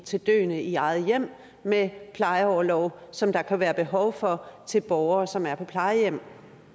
til døende i eget hjem med plejeorlov som der kan være behov for til borgere som er på plejehjem